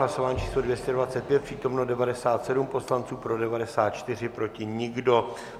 Hlasování číslo 225, přítomno 97 poslanců, pro 94, proti nikdo.